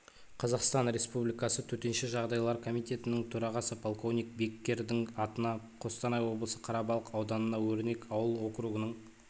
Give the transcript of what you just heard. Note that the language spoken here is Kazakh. қазақстан республикасы төтенше жағдайлар комитетінің төрағасы полковник беккердің атына қостанай облысы қарабалық ауданының өрнек ауыл округының